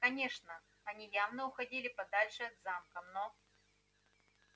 конечно они явно уходили подальше от замка но